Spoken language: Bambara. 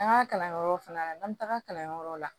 An ka kalanyɔrɔ fana na n'an bɛ taga kalanyɔrɔ la